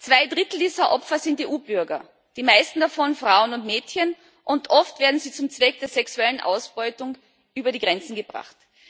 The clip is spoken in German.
Zwei Drittel dieser Opfer sind EU Bürger, die meisten davon Frauen und Mädchen, und oft werden sie zum Zweck der sexuellen Ausbeutung über die Grenzen gebracht.